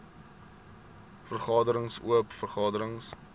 vergaderings oop vergaderings